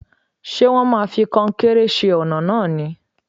Ṣé wón máa fi kọnkéré ṣe ọ̀nà náà ni?